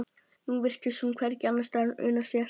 Nú virtist hún hvergi annarsstaðar una sér.